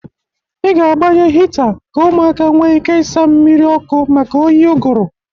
Ị ga-abanye hịta ka ụmụaka nwe ike ịsaa mmiri ọkụ maka oyi ụgụrụ.